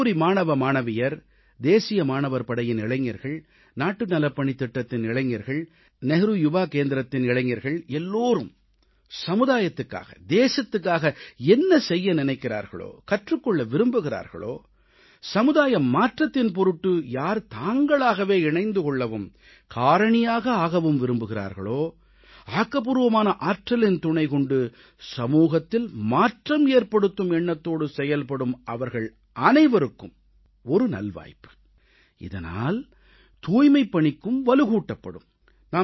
கல்லூரி மாணவ மாணவியர் தேசிய மாணவர் படையின் இளைஞர்கள் நாட்டு நலப்பணித் திட்டத்தின் இளைஞர்கள் நேரு யுவ கேந்திரத்தின் இளைஞர்கள் எல்லோரும் சமுதாயத்துக்காக தேசத்துக்காக என்ன செய்ய நினைக்கிறார்களோ கற்றுக்கொள்ள விரும்புகிறார்களோ சமுதாய மாற்றத்தின் பொருட்டு யார் தாங்களாகவே இணைந்து கொள்ளவும் காரணியாக ஆகவும் விரும்புகிறார்களோ ஆக்கப்பூர்வமான ஆற்றலின் துணை கொண்டு சமூகத்தில் மாற்றம் ஏற்படுத்தும் எண்ணத்தோடு செயல்படும் அவர்கள் அனைவருக்கும் ஒரு நல்வாய்ப்பு இதனால் தூய்மைப்பணிக்கும் வலுகூட்டப்படும்